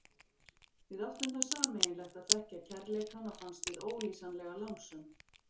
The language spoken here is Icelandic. Við áttum það sameiginlegt að þekkja kærleikann og fannst við ólýsanlega lánsöm.